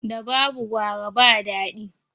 Da babu gwara ba daɗi